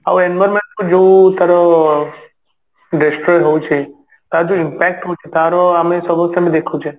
ଆଉ environment କୁ ଯଉ ତାର destroy ହଉଛି ତାର ଯଉ impact ହଉଛି ତାର ଆମେ ସମସ୍ତେ ତ ଦେଖୁଛେ